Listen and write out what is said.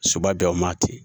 Soba bɛ o ma ten